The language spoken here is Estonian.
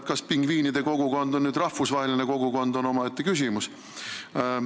Kas pingviinide kogukond on rahvusvaheline kogukond, on omaette küsimus.